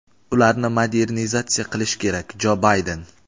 ularni modernizatsiya qilishi kerak – Jo Bayden.